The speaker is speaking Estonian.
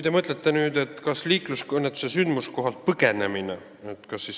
Te peate silmas liiklusõnnetuse korral sündmuskohalt põgenemist.